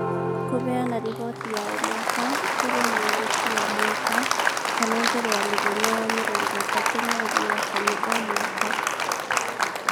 Kũheana riboti ya o mwaka kũrĩ mwandĩki o mwaka, kana mbere ya mũthenya wa mĩrongo ĩtatũ mweri wa kana wa o mwaka.